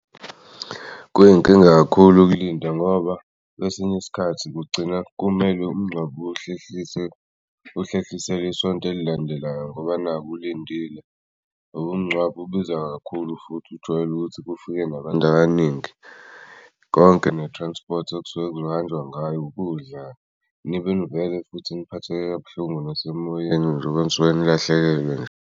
Kuyinkinga kakhulu ukulinda ngoba kwesinye isikhathi kugcina kumele umngcwabo uhlehliselwe isonto elilandelayo ngoba naku ulindile ngobu umngcwabo ubiza kakhulu futhi ujwayele ukuthi kufike nabantu abaningi. Konke ne-transport okusuke kuzohanjwa ngayo, ukudla nibe nivele futhi niphathe kabuhlungu nasemoyeni njoba nisuke nilahlekelwe nje.